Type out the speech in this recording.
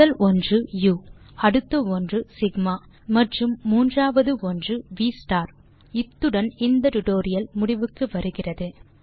முதல் ஒன்று உ அடுத்த ஒன்று சிக்மா மற்றும் மூன்றாவது ஒன்று வி ஸ்டார் இத்துடன் இந்த டியூட்டோரியல் முடிவுக்கு வருகிறது